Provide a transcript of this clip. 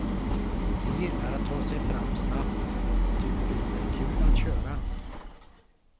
De gillar att ta sig fram snabbt, tycker det är kul att köra.